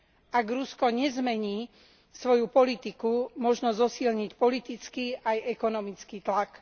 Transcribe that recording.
Ak Rusko nezmení svoju politiku, možno zosilniť politicky aj ekonomický tlak.